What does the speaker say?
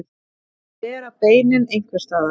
Að bera beinin einhvers staðar